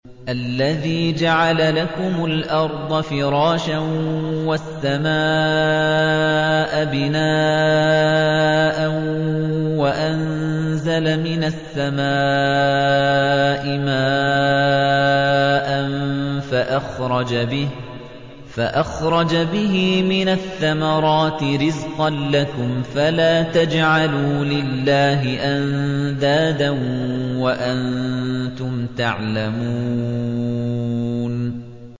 الَّذِي جَعَلَ لَكُمُ الْأَرْضَ فِرَاشًا وَالسَّمَاءَ بِنَاءً وَأَنزَلَ مِنَ السَّمَاءِ مَاءً فَأَخْرَجَ بِهِ مِنَ الثَّمَرَاتِ رِزْقًا لَّكُمْ ۖ فَلَا تَجْعَلُوا لِلَّهِ أَندَادًا وَأَنتُمْ تَعْلَمُونَ